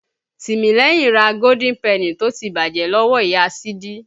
Tìmílẹ́yìn ra Golden penny tó ti bàjẹ́ lọ́wọ́ Ìya Sídí.